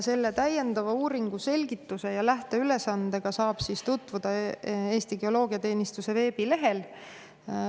Selle täiendava uuringu selgituse ja lähteülesandega saab tutvuda Eesti Geoloogiateenistuse veebilehel.